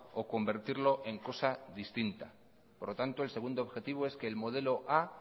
o convertirlo en cosa distinta por lo tanto el segundo objetivo es que el modelo a